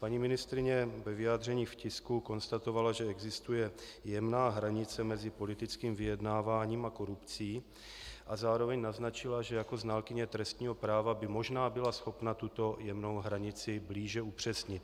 Paní ministryně ve vyjádření v tisku konstatovala, že existuje jemná hranice mezi politickým vyjednáváním a korupcí, a zároveň naznačila, že jako znalkyně trestního práva by možná byla schopna tuto jemnou hranici blíže upřesnit.